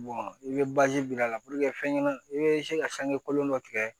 i bɛ biri a la fɛn ɲɛnama i bɛ se ka sange kolon dɔ tigɛ